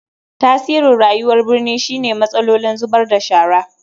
Tasirin rayuwar birni shine matsalolin zubar da shara.